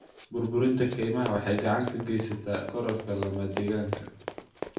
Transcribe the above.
Burburinta kaymaha waxay gacan ka geysataa kororka lamadegaanka.